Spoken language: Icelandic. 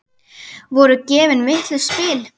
Voru gefin vitlaus spil?